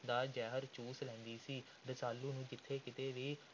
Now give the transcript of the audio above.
ਦਾ ਜ਼ਹਿਰ ਚੂਸ ਲੈਂਦੀ ਸੀ। ਰਸਾਲੂ ਨੂੰ ਜਿੱਥੇ ਕਿਤੇ ਵੀ